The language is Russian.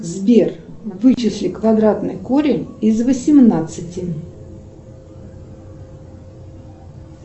сбер вычисли квадратный корень из восемнадцати